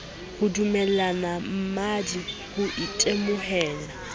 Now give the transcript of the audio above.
ho dumella mmadi ho itemohela